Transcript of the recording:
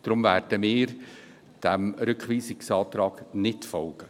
Deshalb werden wir diesem Rückweisungsantrag nicht folgen.